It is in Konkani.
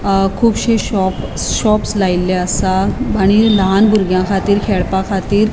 अ कूबशी शॉप शॉपस लायले असा आणि लान बुर्ग्याखातीर खेळपा खाती --